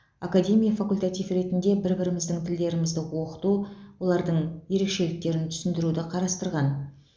академия факультатив ретінде бір біріміздің тілдерімізді оқыту олардың ерекшеліктерін түсіндіруді қарастырған